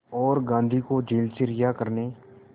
और गांधी को जेल से रिहा करने